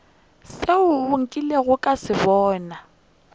sela nkilego ka se bona